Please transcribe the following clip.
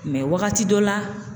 Mɛ wagati dɔ la